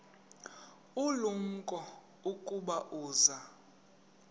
ulumko ukuba uza